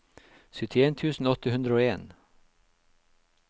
syttien tusen åtte hundre og en